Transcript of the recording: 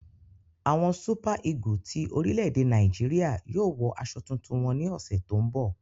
Awọn Súpà-ígù ti orílẹ̀-èdè Nàìjíríà yóò wọ àsọ̀ tuntun wọn ní òṣù tó n bọ